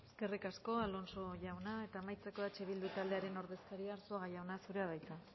eskerrik asko alonso jauna eta amaitzeko eh bildu taldearen ordezkaria arzuaga jauna zurea da hitza